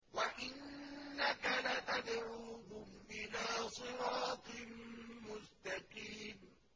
وَإِنَّكَ لَتَدْعُوهُمْ إِلَىٰ صِرَاطٍ مُّسْتَقِيمٍ